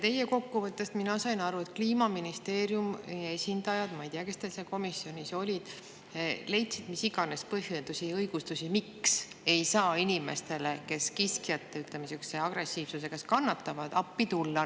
Teie kokkuvõttest sain ma aru, et Kliimaministeeriumi esindajad – ma ei tea, kes teil seal komisjonis olid – leidsid mis iganes põhjendusi ja õigustusi, miks ei saa inimestele, kes kiskjate agressiivsuse käes kannatavad, appi tulla.